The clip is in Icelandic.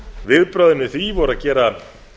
viðbrögðin við því voru að gera